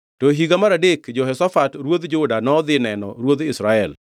To e higa mar adek Jehoshafat ruodh Juda nodhi neno ruodh Israel.